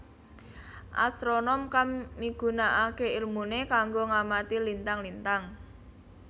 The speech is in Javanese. Astronom kang migunakaké ilmuné kanggo ngamati lintang lintang